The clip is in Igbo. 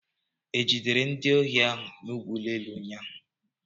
E jidere ndị ohi n'ụlọ ụgbọelu ụnyaahụ?